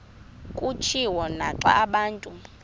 kutshiwo naxa abantu